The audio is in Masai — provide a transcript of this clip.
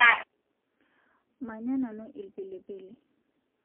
Manya nanu lpilipili